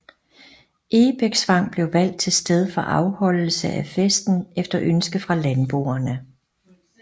Egebæksvang blev valgt til sted for afholdelse af festen efter ønske fra landboerne